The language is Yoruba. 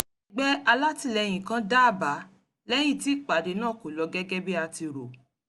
akẹgbẹ́ alátìlẹ́yìn kan dá àbá lẹ́yìn tí ìpàdé náà kò lọ gẹ́gẹ́ bí a ti rò